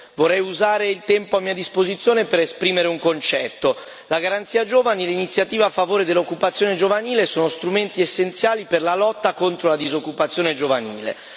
Vorrei usare il tempo a mia disposizione per esprimere un concetto la Garanzia giovani e l'Iniziativa a favore dell'occupazione giovanile sono strumenti essenziali per la lotta contro la disoccupazione giovanile.